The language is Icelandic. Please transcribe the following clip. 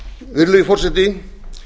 virðulegi forseti